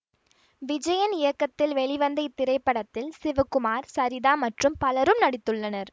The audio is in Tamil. விஜயன் இயக்கத்தில் வெளிவந்த இத்திரைப்படத்தில் சிவகுமார் சரிதா மற்றும் பலரும் நடித்துள்ளனர்